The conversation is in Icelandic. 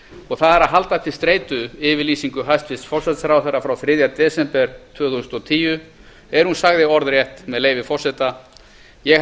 og það er að halda til streitu yfirlýsingu hæstvirts forsætisráðherra frá þriðja desember tvö þúsund og tíu er hún sagði orðrétt með leyfi forseta ég